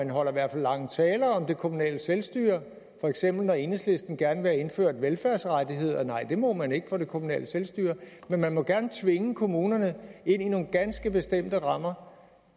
holder i hvert fald lange taler om det kommunale selvstyre for eksempel når enhedslisten gerne vil have indført velfærdsrettigheder nej det må man ikke for det kommunale selvstyre men man må gerne tvinge kommunerne ind i nogle ganske bestemte rammer